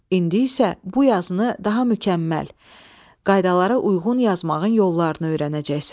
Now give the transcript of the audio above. İndi isə bu yazını daha mükəmməl, qaydalara uyğun yazmağın yollarını öyrənəcəksən.